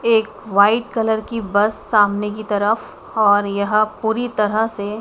एक white colour की bus सामने की तरफ और यह पूरी तरह से--